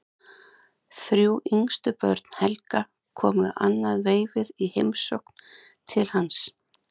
Þrjú yngstu börn Helga komu annað veifið í heimsókn til hans.